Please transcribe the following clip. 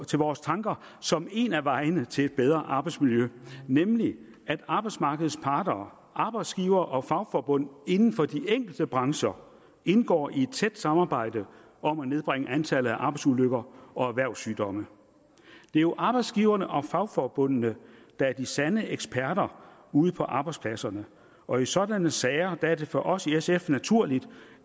til vores tanker som en af vejene til et bedre arbejdsmiljø nemlig at arbejdsmarkedets parter arbejdsgivere og fagforbund inden for de enkelte brancher indgår i et tæt samarbejde om at nedbringe antallet af arbejdsulykker og erhvervssygdomme det er jo arbejdsgiverne og fagforbundene der er de sande eksperter ude på arbejdspladserne og i sådanne sager er det for os i sf naturligt